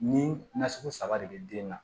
Ni nasugu saba de bɛ den na